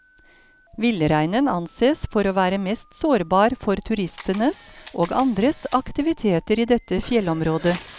Villreinen anses for å være mest sårbar for turistenes og andres aktiviteter i dette fjellområdet.